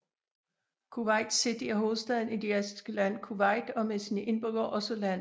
Kuwait City er hovedstaden i det asiatiske land Kuwait og er med sine indbyggere også landets største by